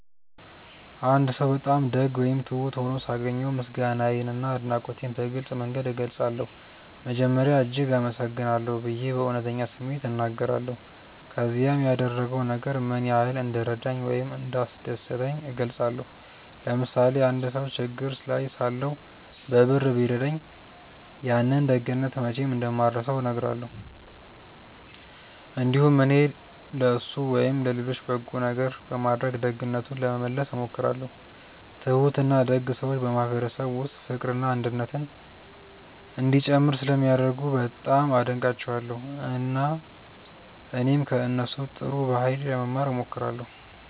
አንድ ሰው በጣም ደግ ወይም ትሁት ሆኖ ሳገኘው ምስጋናዬንና አድናቆቴን በግልጽ መንገድ እገልጻለሁ። መጀመሪያ “እጅግ አመሰግናለሁ” ብዬ በእውነተኛ ስሜት እናገራለሁ፣ ከዚያም ያደረገው ነገር ምን ያህል እንደረዳኝ ወይም እንዳስደሰተኝ እገልጻለሁ። ለምሳሌ አንድ ሰው ችግር ላይ ሳለሁ በብር ቢረዳኝ፣ ያንን ደግነት መቼም እንደማልረሳው እነግረዋለሁ። እንዲሁም እኔም ለእሱ ወይም ለሌሎች በጎ ነገር በማድረግ ደግነቱን ለመመለስ እሞክራለሁ። ትሁትና ደግ ሰዎች በማህበረሰብ ውስጥ ፍቅርና አንድነት እንዲጨምር ስለሚያደርጉ በጣም አደንቃቸዋለሁ፣ እና እኔም ከእነሱ ጥሩ ባህሪ ለመማር እሞክራለሁ።